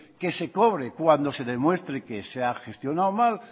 que se cobre cuando se demuestre que se ha gestionado mal